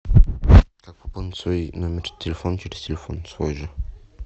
как пополнить свой номер телефона через телефон свой же